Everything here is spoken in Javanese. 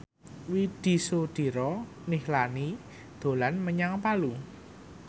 Widy Soediro Nichlany dolan menyang Palu